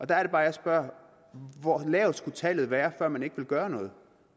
der er det bare jeg spørger hvor lavt skulle tallet være før man ikke ville gøre noget